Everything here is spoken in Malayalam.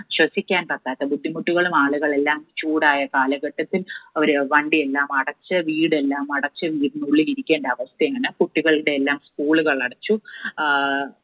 ശ്വസിക്കാൻ പറ്റാത്ത ബുദ്ധിമുട്ടുകളും ആളുകളെല്ലാം ചൂടായ കാലഘട്ടത്തിൽ അവർ വണ്ടി എല്ലാം അടച്ച് വീട് എല്ലാം അടച്ച് ഉള്ളിൽ ഇരിക്കേണ്ട അവസ്ഥയാണ്. കുട്ടികളുടെ എല്ലാം school കൾ അടച്ചു. ആഹ്